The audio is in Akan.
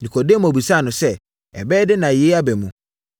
Nikodemo bisaa no sɛ, “Ɛbɛyɛ dɛn na yei aba mu?”